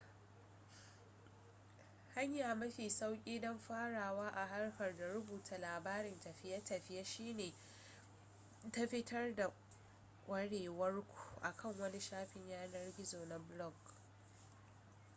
hanya mafi sauki don farawa a harkar da rubuta labarin tafiye-tafiiye shi ne ta fitar da kwarewar ku akan wani shafin yanar-gizo na blog